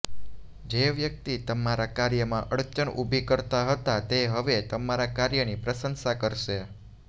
જે વ્યક્તિ તમારા કાર્યમાં અડચણ ઉભી કરતા હતા તે હવે તમારા કાર્યની પ્રશંસા કરશે